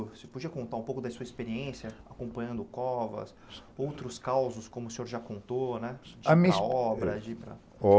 Você podia contar um pouco da sua experiência acompanhando Covas, outros causos, como o senhor já contou, né? na obra de está